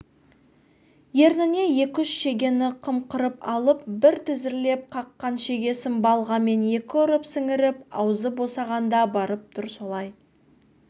ерніне екі-үш шегені қымқырып алып бір тізерлеп қаққан шегесін балғамен екі ұрып сіңіріп аузы босағанда барып тұр солай